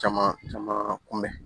Caman caman kun bɛn